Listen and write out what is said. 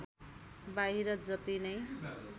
बाहिर जति नै